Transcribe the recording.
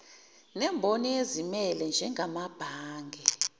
nemboni ezimele njengamabhange